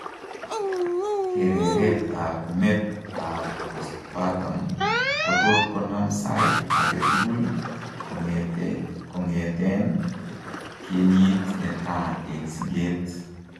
Kereret ab met ab postpartum kotot konam saiit aketugul kong'eteen kenyit netaa eng' sikeet